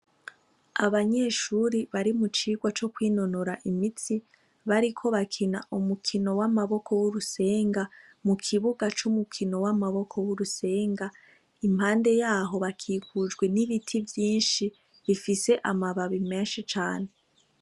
Abanyeshuri bari mu cigwa co kwinonora imitsi, bariko bakina umukino w'amaboko w'urusenga, mu kibuga c'umukino w'amaboko w'urusenga, impande yaho bakikujwe n'ibiti vyinshi, bifise amababi menshi cane.